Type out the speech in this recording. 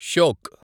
Shyok